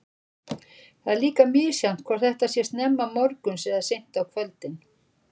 Það er líka misjafnt hvort þetta sé snemma morguns eða seint á kvöldin.